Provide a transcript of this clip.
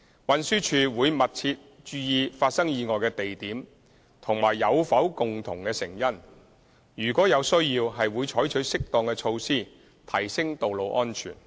運輸署會密切留意發生意外的地點和有否共同成因，如有需要，會採取適當的措施提升道路安全。